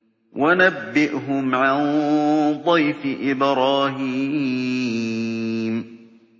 وَنَبِّئْهُمْ عَن ضَيْفِ إِبْرَاهِيمَ